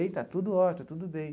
E está tudo ótimo, tudo bem.